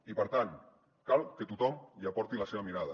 i per tant cal que tothom hi aporti la seva mirada